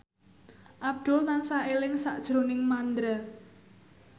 Abdul tansah eling sakjroning Mandra